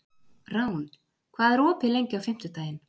Rán, hvað er opið lengi á fimmtudaginn?